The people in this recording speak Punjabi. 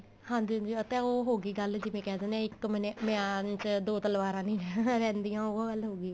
ਹਾਂਜੀ ਹਾਂਜੀ ਆ ਤਾਂ ਉਹ ਹੋਗੀ ਗੱਲ ਜਿਵੇਂ ਕਹਿ ਦਿਨੇ ਏ ਇੱਕ ਮੈਨੇ ਮਿਆਨ ਚ ਦੋ ਤਲਵਾਰਾ ਨੀ ਨਾ ਰਹਿੰਦੀਆਂ ਉਹ ਗੱਲ ਹੋਗੀ